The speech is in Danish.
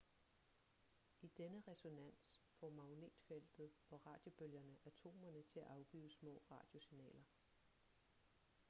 i denne resonans får magnetfeltet og radiobølgerne atomerne til at afgive små radiosignaler